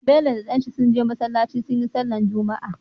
Bello da dan shi sun je masalaci suyi sallar juma'a